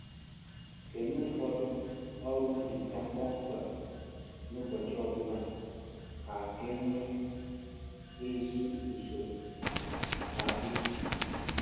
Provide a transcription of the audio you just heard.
Kenye ụfọdụ ọrụ nhicha kpọmkwem n'ụbọchị ọbụla ka e nwee ezi usoro kwa izu